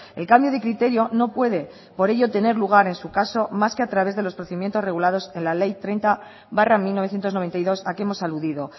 el cambio de criterio no puede por ello tener lugar en su caso más que a través de los procedimientos regulados en la ley treinta barra mil novecientos noventa y dos a que hemos aludido